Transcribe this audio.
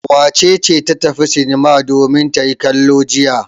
Wace ce ta tafi sinima domin ta yi kallo jiya?